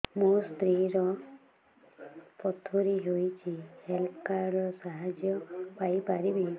ମୋ ସ୍ତ୍ରୀ ର ପଥୁରୀ ହେଇଚି ହେଲ୍ଥ କାର୍ଡ ର ସାହାଯ୍ୟ ପାଇପାରିବି